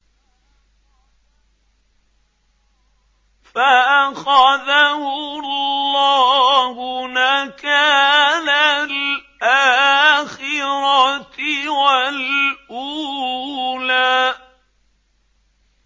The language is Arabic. فَأَخَذَهُ اللَّهُ نَكَالَ الْآخِرَةِ وَالْأُولَىٰ